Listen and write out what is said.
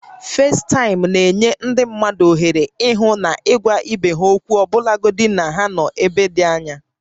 Facetime na-enye ndị mmadụ ohere ịhụ na ịgwa ibe ha okwu ọbụlagodi na ha nọ n'ebe dị anya